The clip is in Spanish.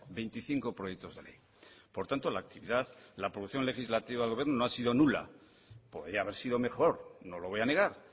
veinticinco proyectos de ley por tanto la actividad la producción legislativa del gobierno no ha sido nula podría haber sido mejor no lo voy a negar